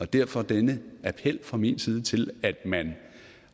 derfor denne appel fra min side til at man